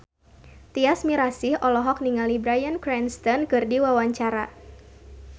Tyas Mirasih olohok ningali Bryan Cranston keur diwawancara